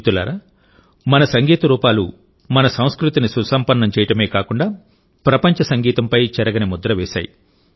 మిత్రులారామన సంగీత రూపాలు మన సంస్కృతిని సుసంపన్నం చేయడమే కాకుండా ప్రపంచ సంగీతంపై చెరగని ముద్ర వేశాయి